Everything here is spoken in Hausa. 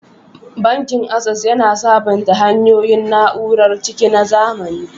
Bankin Access, yana sabunta hanyoyin na'urar ciniki na zamani.